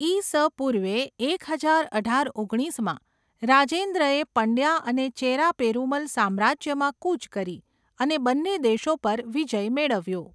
ઈ.સ. પૂર્વે એક હજાર અઢાર ઓગણીસમાં, રાજેન્દ્રએ પંડ્યા અને ચેરા પેરુમલ સામ્રાજ્યમાં કૂચ કરી અને બંને દેશો પર વિજય મેળવ્યો.